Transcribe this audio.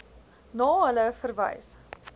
na hulle verwys